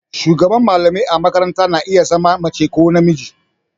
Shugaban mallamai a makaranta na iya zama mace ko namiji.